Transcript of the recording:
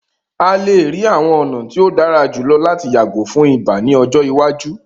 A le rii awọn ọna ti o dara julọ lati yago fun ibà ni ọjọ iwaju.